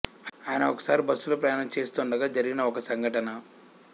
ఆయన ఒకసారి బస్సులో ప్రయాణం చేస్తుండగా జరిగిన ఒక సంఘటన